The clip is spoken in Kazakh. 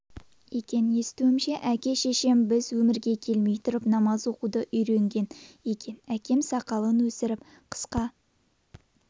екен естуімше әке-шешем біз өмірге келмей тұрып намаз оқуды үйренген екен әкем сақалын өсіріп қысқа